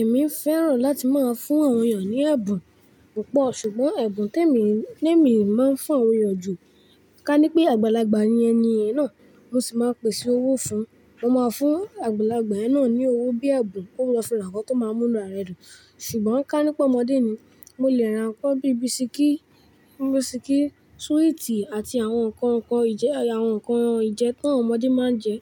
Èmi fẹ́ràn láti máa fún àwọn ènìyàn ní ẹ̀bùn púpọ̀, ṣùgbọ́n ẹ̀bùn tí èmi, tí èmi máa ń fún àwọn ènìyàn ju, ká ní pé àgbàlagbà ni ẹni náà, mo sì máa pèsè owó fún un. Mo máa fún àgbàlagbà náà ní owó bíi ẹ̀bùn, ó máa fi ra nǹkan tó máa mú inú ara ẹ̀ dùn. Ṣùgbọ́n ká ní pé ọmọdé ni, mo lè ra nǹkan bíi bisikí, bisikí, sweeti àti àwọn nǹkan ìjẹ, àwọn nǹkan ìjẹ tàwọn ọmọdé máa ń jẹ,